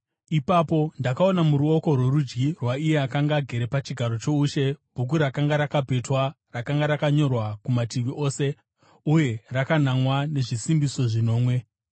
Ipapo ndakaona muruoko rworudyi rwaiye akanga agere pachigaro choushe bhuku rakanga rakapetwa, rakanga rakanyorwa kumativi ose uye rakanamwa nezvisimbiso zvinomwe.